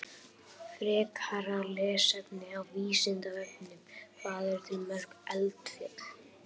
Frekara lesefni á Vísindavefnum: Hvað eru til mörg eldfjöll?